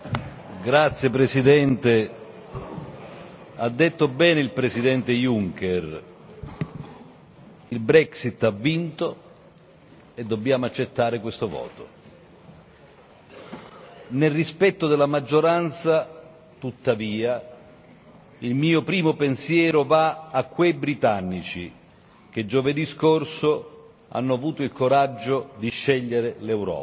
Signor Presidente, onorevoli colleghi, ha detto bene il Presidente Juncker il Brexit ha vinto e dobbiamo accettare questo voto. Nel rispetto della maggioranza, tuttavia, il mio primo pensiero va a quei britannici che giovedì scorso hanno avuto il coraggio di scegliere l'Europa,